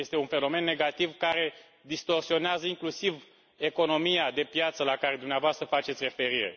Este un fenomen negativ, care distorsionează inclusiv economia de piață la care dumneavoastră faceți referire.